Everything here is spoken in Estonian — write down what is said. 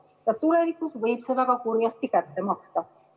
Ja tulevikus võib see väga kurjasti kätte maksta.